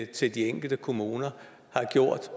til de enkelte kommuner har gjort